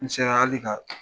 N sera hali ka